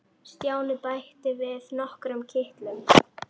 Stjáni bætti við nokkrum kitlum.